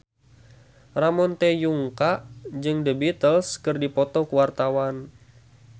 Ramon T. Yungka jeung The Beatles keur dipoto ku wartawan